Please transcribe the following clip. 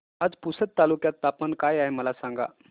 आज पुसद तालुक्यात तापमान काय आहे मला सांगा